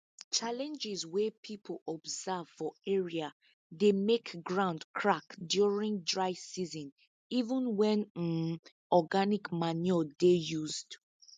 challenges wey people observe for area dey make ground crack during dry season even when um organic manure dey used